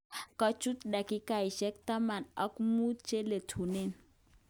Kochut dakikoshek taman ak mut cheletunen.